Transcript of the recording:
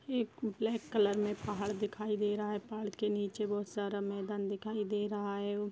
एक black colour में पहाड़ दिखाई दे रहा है पहाड़ के नीचे बहुत सारा मैदान दिखाई दे रहा है --